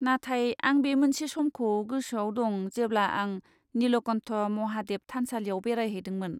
नाथाय आं बे मोनसे समखौ गोसोआव दं जेब्ला आं निलकण्ठ महादेव थानसालियाव बेरायहैदोंमोन।